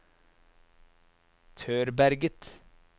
Tørberget